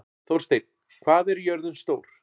Þórsteinn, hvað er jörðin stór?